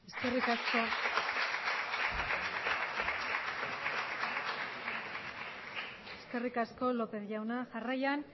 eskerrik asko lópez jauna jarraian